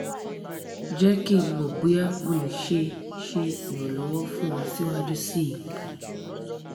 jẹ ki n mọ boya mo le ṣe ṣe iranlọwọ fun ọ siwaju sii